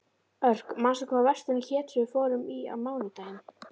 Örk, manstu hvað verslunin hét sem við fórum í á mánudaginn?